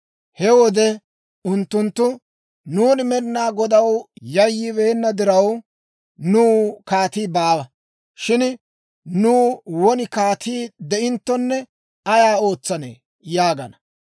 He wode unttunttu, «Nuuni Med'inaa Godaw yayyibeenna diraw, nuw kaatii baawa; shin nuw won kaatii de'inttonne ayaa ootsanee?» yaagana.